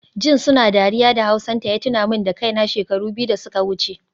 Jin suna dariya da hausanta ya tuna min da kaina, shekaru biyu da suka wuce